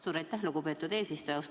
Suur aitäh, lugupeetud eesistuja!